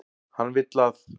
Hann vill að.